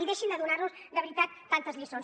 i deixin de donar nos de veritat tantes lliçons